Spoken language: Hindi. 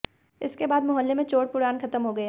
इसके बाद मुहल्ले में चोर पुराण खत्म हो गया